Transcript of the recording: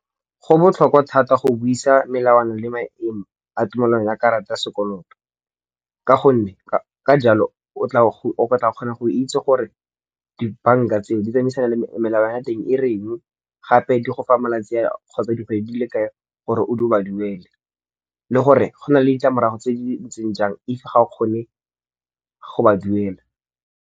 Go botlhokwa thata go buisa melawana le maemo a tumelano ya karata ya sekoloto. Ka jalo, o tla kgona go itse gore dibanka tseo di tsamaisana le melawana ya teng e reng gape di go fa malatsi kgotsa dikgwedi di le kae gore o ba duele. Le gore go na le ditlamorago tse di ntseng jang if ga o kgone go ba duela.